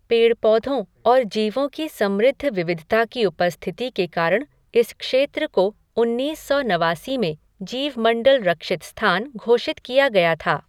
पेड़ पौधों और जीवों की समृद्ध विविधता की उपस्थिति के कारण इस क्षेत्र को उन्नीस सौ नवासी में जीवमंडल रक्षित स्थान घोषित किया गया था।